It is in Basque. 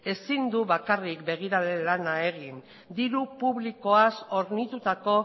ezin du bakarrik begirale lana egin diru publikoaz hornitutako